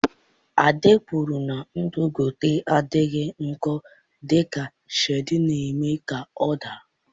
Ade kwuru na ndụ geto adịghị njọ dịka Shade na-eme ka ọ daa.